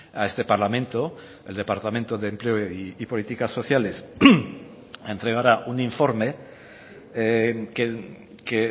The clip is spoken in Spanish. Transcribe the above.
a este parlamento el departamento de empleo y políticas sociales entregará un informe que